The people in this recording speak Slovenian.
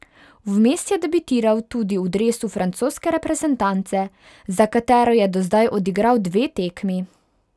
Vmes je debitiral tudi v dresu francoske reprezentance, za katero je do zdaj odigral dve tekmi.